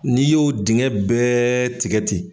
N'i y'o dingɛ bɛɛ tigɛ ten.